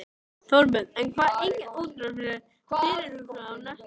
Þorbjörn Þórðarson: En það er engin útrás fyrirhuguð á næstunni?